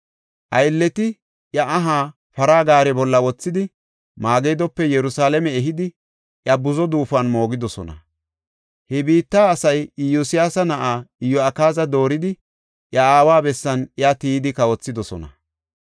Aylleti iya aha para gaare bolla wothidi, Magidope Yerusalaame ehidi, iya buzo duufuwan moogidosona. He biitta asay Iyosyaasa na7aa Iyo7akaaza dooridi, iya aawa bessan iya tiyidi kawothidosona.